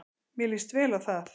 Mér lýst vel á það.